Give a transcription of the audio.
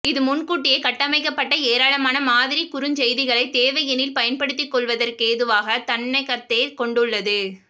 இது முன்கூட்டியே கட்டமைக்கபட்ட ஏராளமான மாதிரி குறுஞ்செய்திகளை தேவையெனில் பயன்படுத்திகொள்வதற்கேதுவாக தன்னகத்தே கொண்டுள்ளது